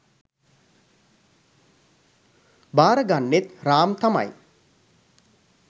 බාරගන්නෙත් රාම් තමයි